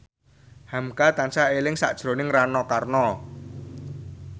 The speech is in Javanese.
hamka tansah eling sakjroning Rano Karno